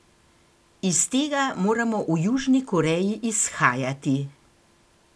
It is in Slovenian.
Iz tega moramo v Južni Koreji izhajati.